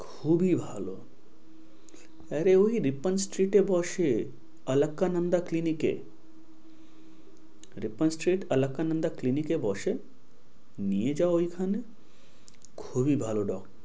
খুবই ভালো, আরে ওই রিপন street এ বসে আলাকানন্দা clinic কে, রিপন street আলাকানন্দা clinic এ বসে নিয়ে যাও ওই খানে খুবই ভালো ডাক্তার।